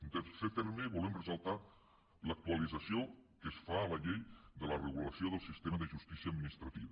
en tercer terme volem ressaltar l’actualització que es fa a la llei de la regulació del sistema de justícia administrativa